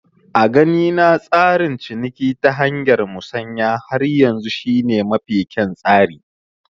A ganina tsarin ciniki ta hanyar Musanya har yanzu shi ne mafi kyan tsari